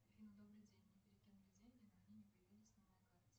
афина добрый день мне перекинули деньги но они не появились на моей карте